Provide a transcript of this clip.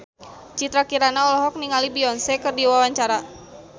Citra Kirana olohok ningali Beyonce keur diwawancara